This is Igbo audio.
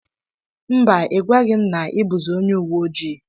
Mba ịgwaghi m na i buzi onye uweojii.